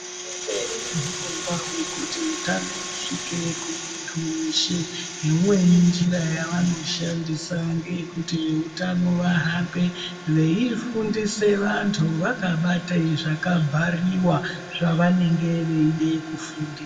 Hurumende inehurogwa hwekuti hutano husvike kumundu weshe imweni njira yavanoshandisa ngeyekuti veutano vahambe veifundisa antu vakabate zvakabhariwa zvavanenge veide kufundisa.